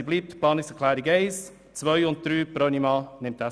Deshalb nehmen wir alle drei Planungserklärungen an.